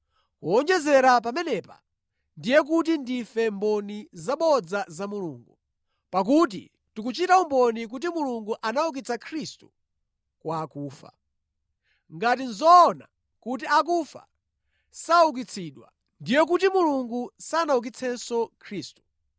Kuwonjezera pamenepa, ndiye kuti ndife mboni zabodza pa za Mulungu, pakuti tikuchita umboni kuti Mulungu anaukitsa Khristu kwa akufa. Ngati nʼzoona kuti akufa saukitsidwa, ndiye kuti Mulungu sanaukitsenso Khristu.